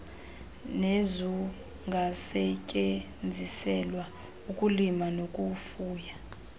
nezungasetyenziselwa ukulima nokufuya